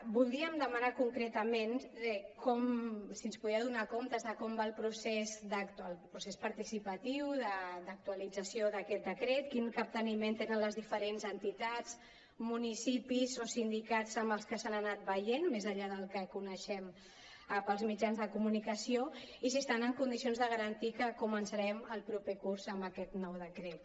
voldríem demanar concretament si ens podia donar comptes de com va el procés participatiu d’actualització d’aquest decret quin capteniment tenen les diferents entitats municipis o sindicats amb els que s’han anat veient més enllà del que coneixem pels mitjans de comunicació i si estan en condicions de garantir que començarem el proper curs amb aquest nou decret